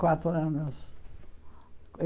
Quatro anos.